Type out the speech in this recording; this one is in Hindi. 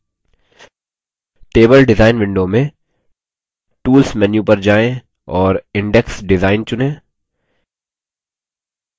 table डिजाइन window में tools menu पर जाएँ और index design चुनें